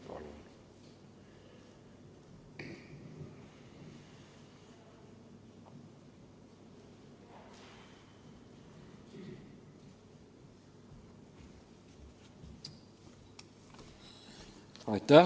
Palun!